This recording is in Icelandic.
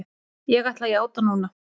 Ég ætla að játa núna.